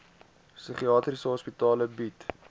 psigiatriese hospitale bied